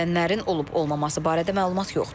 Ölənlərin olub-olmaması barədə məlumat yoxdur.